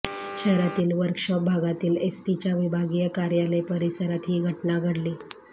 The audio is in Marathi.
शहरातील वर्कशॉप भागातील एस टीच्या विभागीय कार्यालय परिसरात ही घटना घडली